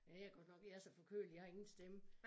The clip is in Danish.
Ja jeg godt nok jeg så forkølet jeg har ingen stemme